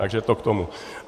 Takže to k tomu.